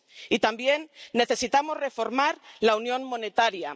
Y también necesitamos reformar la unión monetaria.